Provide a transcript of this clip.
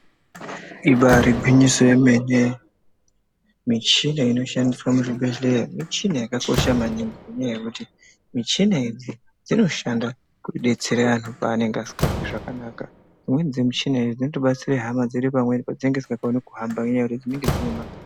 Ibari gwinyiso yomene, michina inoshandiswa muzvibhedhlera, michina yakakosha maningi ngendaa yekuti michina idzi dzinosha kudetsera antu paanemge asingazwi zvakanaka dzimweni dzemichina idzi dzinotobatsira hama dzedu pamweni padzininga dzisingakoni kuhamba ngenyaya yekuti dzinonge dzinema.